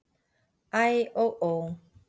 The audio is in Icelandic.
Æ og ó!